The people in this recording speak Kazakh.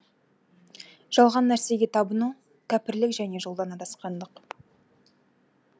жалған нәрсеге табыну кәпірлік және жолдан адасқандық